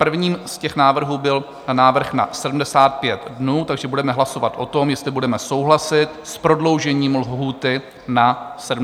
Prvním z těch návrhů byl návrh na 75 dnů, takže budeme hlasovat o tom, jestli budeme souhlasit s prodloužením lhůty na 75 dnů.